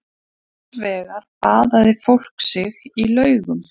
Annars vegar baðaði fólk sig í laugum.